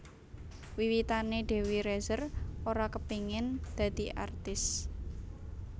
Wiwitané Dewi Rezer ora kepengin dadi artis